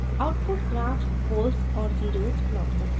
output graph poles और zeros plot करता है